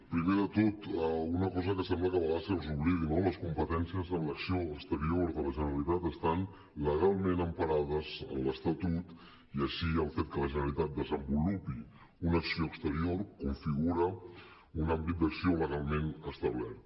primer de tot una cosa que sembla que de vegades se us oblidi no les competències en l’acció exterior de la generalitat estan legalment emparades en l’estatut i així el fet que la generalitat desenvolupi una acció exterior configura un àmbit d’acció legalment establert